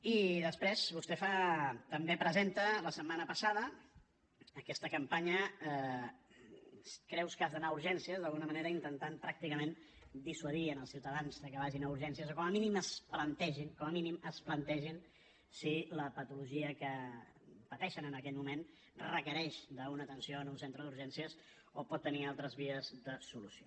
i després vostè fa també presenta la setmana passada aquesta campanya creus que has d’anar a urgències d’alguna manera intentant pràcticament dissuadir els ciutadans que vagin a urgències o que com a mínim es plantegin com a mínim es plantegin si la patologia que pateixen en aquell moment requereix una atenció en un centre d’urgències o pot tenir altres vies de solució